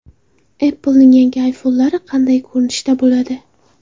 Apple’ning yangi iPhone’lari qanday ko‘rinishda bo‘ladi?.